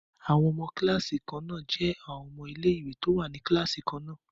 Àwọn ọmọ kíláàsì kan náà jẹ́ ọmọ ilé ìwé tó wà ní kíláàsì kan náà